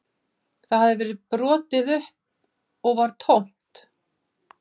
Það hafði verið brotið upp og var tómt